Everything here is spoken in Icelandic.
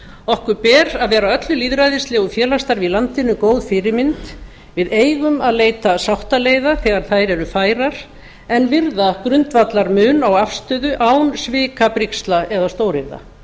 okkur ber að vera öllu lýðræðislegu og félagsstarfi í landinu góð fyrirmynd við eigum að leita sáttaleiða þegar þær eru færar en virða grundvallarmun á afstöðu án svikabrigsla eða stóryrða